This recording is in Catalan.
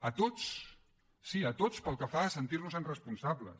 a tots sí a tots pel que fa a sentir nos en responsables